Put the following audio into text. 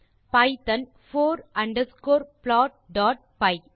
Python for underscore plotபை